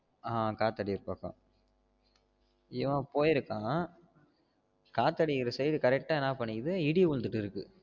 ஆஹ் காத்து அடிக்குற பக்கம் இவன் போயிருக்கான் காத்து அடிக்குற side correct ஆஹ் என்ன பண்ணிருக்கு இடி உழுந்துட்டு இருக்கு